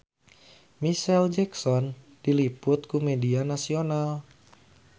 Micheal Jackson diliput ku media nasional